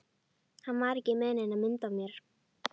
Hann var ekki með neina mynd af mér